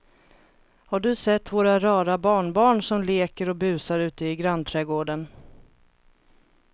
Har du sett våra rara barnbarn som leker och busar ute i grannträdgården!